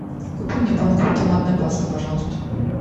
купи мне банку томатной пасты пожалуйста